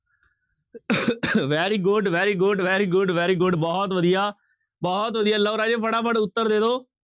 very good, very good, very good, very good ਬਹੁਤ ਵਧੀਆ, ਬਹੁਤ ਵਧੀਆ ਲਓ ਰਾਜੇ ਫਟਾਫਟ ਉੱਤਰ ਦੇ ਦਓ।